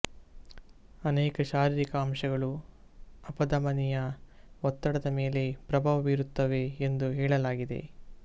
ಅನೇಕ ಶಾರೀರಿಕ ಅಂಶಗಳು ಅಪಧಮನಿಯ ಒತ್ತಡದ ಮೇಲೆ ಪ್ರಭಾವ ಬೀರುತ್ತವೆ ಎಂದು ಹೇಳಲಾಗಿದೆ